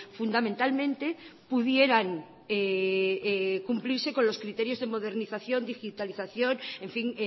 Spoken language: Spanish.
fundamentalmente pudieran cumplirse con los criterios de modernización digitalización en fin